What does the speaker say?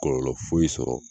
Kɔlɔlɔ foyi sɔrɔ